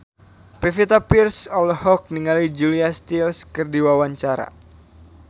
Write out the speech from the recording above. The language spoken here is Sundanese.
Pevita Pearce olohok ningali Julia Stiles keur diwawancara